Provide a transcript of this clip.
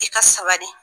I ka sabali